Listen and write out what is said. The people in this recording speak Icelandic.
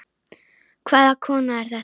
Hvaða kona er þetta?